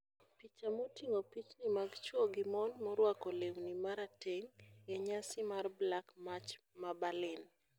Picha moting'o pichni mag chwo gi mon morwako lewni ma rateng ' e nyasi mar #BlackMarch ma Berlin.